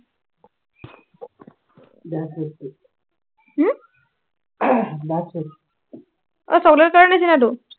হম আহ chocolate ৰ নিচিনাটো